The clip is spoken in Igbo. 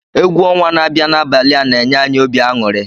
Egwu ọnwa na-abịa n'abalị a na-enye anyị obi aṅụrị.